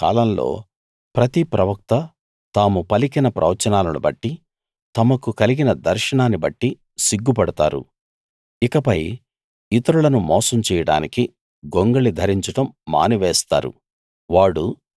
ఆ కాలంలో ప్రతి ప్రవక్త తాము పలికిన ప్రవచనాలను బట్టి తమకు కలిగిన దర్శనాన్ని బట్టి సిగ్గుపడతారు ఇకపై ఇతరులను మోసం చేయడానికి గొంగళి ధరించడం మానివేస్తారు